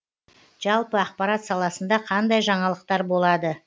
жалпы ақпарат саласында қандай жаңалықтар болады